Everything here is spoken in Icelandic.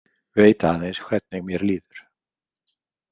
Veit aðeins hvernig mér líður.